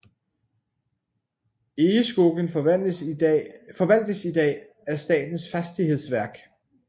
Egeskogen forvaltes i dag af Statens fastighetsverk